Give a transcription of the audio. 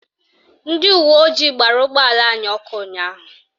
Ndị uweojii gbara ụgbọala anyị ọkụ ụnyaahụ